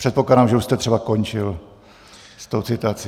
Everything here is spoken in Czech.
Předpokládám, že už jste třeba končil s tou citací.